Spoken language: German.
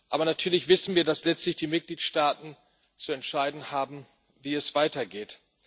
Aber natürlich wissen wir, dass letztlich die Mitgliedstaaten zu entscheiden haben, wie es weitergeht.